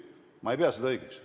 Ma ei pea seda õigeks.